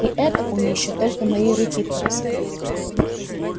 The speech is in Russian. и это он ещё только моей руки просит